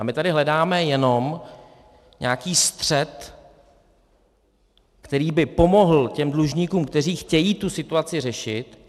A my tady hledáme jenom nějaký střed, který by pomohl těm dlužníkům, kteří chtějí tu situaci řešit.